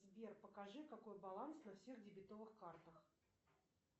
сбер покажи какой баланс на всех дебетовых картах